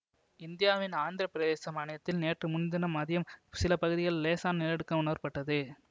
இந்தியாவின் ஆந்திர பிரதேசம் மாநிலத்தில் நேற்று முன்தினம் மதியம் சில பகுதிகளில் லேசான நிலநடுக்கம் உணரப்பட்டது